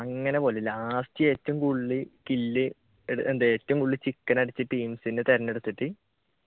അങ്ങനെ പോലെ ഏറ്റവും കൂടുതൽ kill ഏറ്റവും കൂടുതൽ ചിക്കൻ അടിച്ച ടീമ്സിനെ തിരഞ്ഞെടുത്തിട്ട്